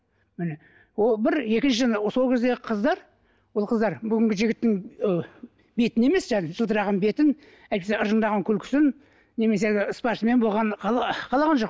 міне ол бір екіншіден сол кездегі қыздар ол қыздар бүгінгі жігіттің ы бетін емес жаңа жылтыраған бетін әйтпесе ыржыңдаған күлкісін немесе әлгі спортсмен болғанын қалаған жоқ